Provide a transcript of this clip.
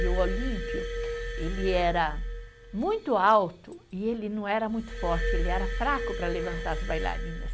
E o Olímpio, ele era muito alto e ele não era muito forte, ele era fraco para levantar as bailarinas.